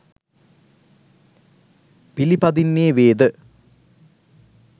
පිළිපදින්නේ වේද